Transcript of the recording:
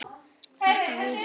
Þetta vitum við.